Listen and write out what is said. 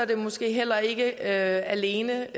det måske heller ikke alene